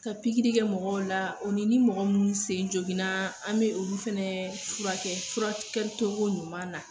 Ka pikri kɛ mɔgɔw la, o ni ni mɔgɔ munnu sen joginna, an be olu fɛnɛ furakɛ furakɛ togo ɲuman na